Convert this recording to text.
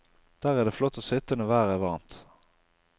Der er det flott å sitte når været er varmt.